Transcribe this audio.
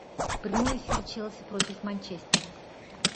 прямой эфир челси против манчестера